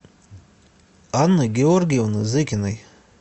анны георгиевны зыкиной